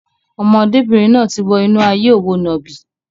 Ọmọdébìnrin náà ti wọ inú ayé òwò nàbì.